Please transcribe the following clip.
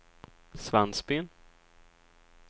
Svensbyn